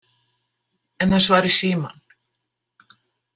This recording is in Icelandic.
Enn að svara í símann?